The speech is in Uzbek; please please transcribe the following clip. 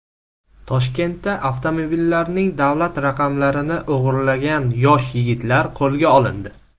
Toshkentda avtomobillarning davlat raqamlarini o‘g‘irlagan yosh yigitlar qo‘lga olindi.